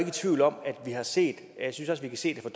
i tvivl om at vi har set jeg synes også vi kan se det